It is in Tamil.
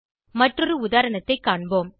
மற்றொரு உதாரணத்தைக் காண்போம்